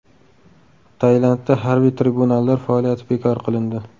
Tailandda harbiy tribunallar faoliyati bekor qilindi.